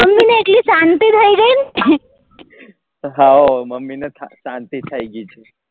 how mummy ને શાંતિ થઇ ગઈ